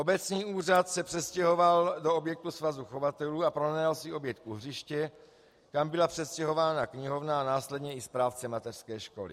Obecní úřad se přestěhoval do objektu Svazu chovatelů a pronajal si objekt u hřiště, kam byla přestěhována knihovna a následně i správce mateřské školy.